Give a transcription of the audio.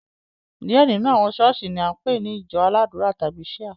Diẹ nínú àwọn ṣọ̀ọ́sì ni a npe ni ìjọ aládùra tàbi Shia.